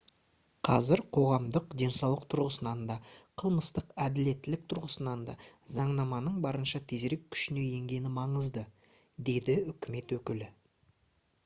қазір қоғамдық денсаулық тұрғысынан да қылмыстық әділеттілік тұрғысынан да заңнаманың барынша тезірек күшіне енгені маңызды - деді үкімет өкілі